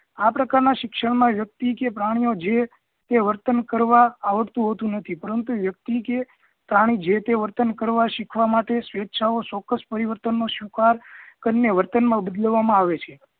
આ પ્રકાર ના શિક્ષણ માં વ્યકિત કે પ્રાણી ઓ જે કે વર્તન કરતાં આવડતું હોતું નથી પરંતુ વ્યક્તિ કે પ્રાણી જે તે વર્તન કરવા મશીખવા માટે સ્વેચ્છા ઓ ચોકકસ પરિવર્તન નો સ્વીકાર કરીને વર્તન મા બદલવા માં આવે છે